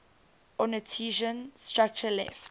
ornithischian structure left